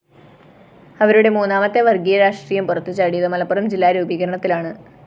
അവരുടെ മൂന്നാമത്തെ വര്‍ഗ്ഗീയ രാഷ്ട്രീയം പുറത്തുചാടിയത് മലപ്പുറം ജില്ലാ രൂപീകരണത്തിലാണ്